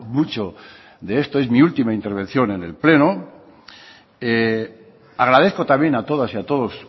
mucho de esto es mi última intervención en el pleno agradezco también a todasy a todos